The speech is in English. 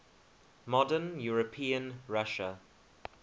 modern european russia